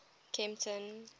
kempton